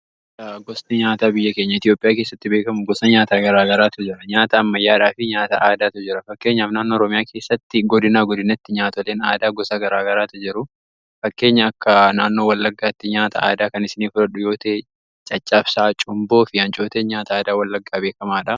Gosti nyaataa biyya keenya Itoophiyaa kessatti beekkamu gosa nyaata garaa garaatu jira. Nyaata ammayyaadhaa fi nyaata aadaatu jira fakkeenyaaf naanoo Oroomyaa keessatti godinaa godinatti nyaatoleen aadaa gosa garaa garaatu jiru. Fakkeenya akka naannoo wallaggaatti nyaata aadaa kan isinii furadhu yoo ta'e caccaabsaa cumboo fi haancooteen nyaata aadaa wallaggaa beekamaadha.